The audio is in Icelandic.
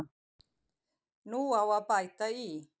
Nú á að bæta í.